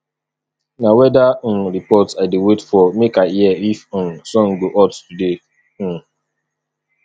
na weather um report i dey wait for make i hear if um sun go hot today um